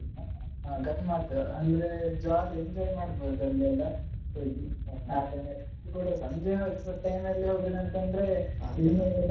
ಹಾ ಗಮ್ಮತ್ ಅಂದ್ರೆ jolly enjoy ಮಾಡ್ಬೋದು ಅಲ್ಲಿ ಯೆಲ್ಲಾ ಹೋಗಿ ಅದು ಕೂಡ ಸಂಜೆ time ಅಲ್ಲಿ ಹೋಗುದನ್ತಂದ್ರೆ ಇನ್ನು ಕೂಡ,